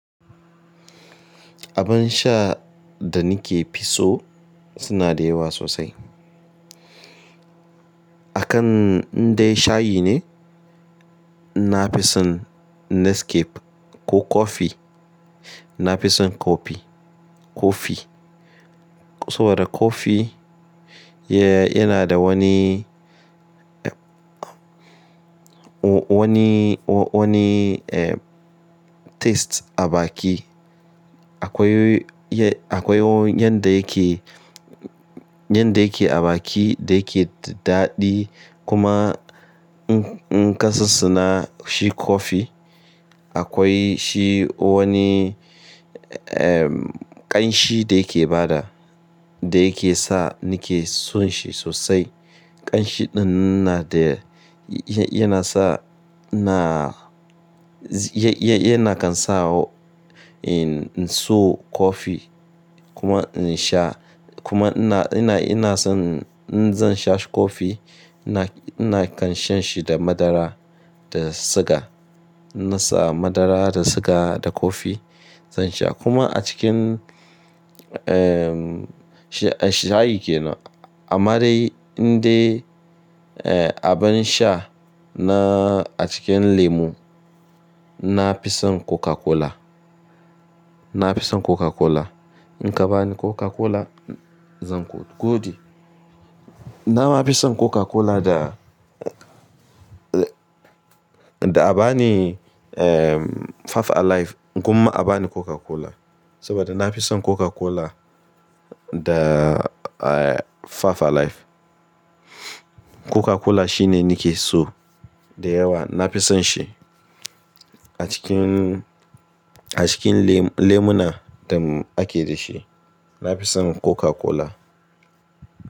Abin sha da nike fi so suna da yawa sosai. Akan inda shayi ne, nafison Nescafe ko kofi nafison kofi, kofi. Saboda kofi yana da wani, wani, wani taste a baki. Akwai, akwai yanda yake, yanda yake a baki da yake daɗi kuma in kasasuna shi kofi. Akwai shi wani ƙanshi da yake bada, da yake sa nike son shi sosai. Ƙanshiɗin na da, yana sa na, yana kan sa n'so kofi kuma n'sha kuma ina, ina, ina son in zan sha kofi ina, ina kan shan shi da madara da siga. Na sa madara da siga da kofi zan sha kuma a cikin shayi kenan. Amma dai inda abin sha na a cikin lemu nafison Coca-Cola, nafison Coca-Cola. In ka bani Coca-Cola zan godi. Nama nafison Coca-Cola da, da a bani Five alive kuma a bani Coca-Cola saboda nafison Coca-Cola da Five alive. Coca-Cola shine nike so da yawa nafison shi a cikin, a cikin lemuna da ake da shi nafison Coca-Cola.